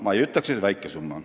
Ma ei ütleks, et see on väike summa.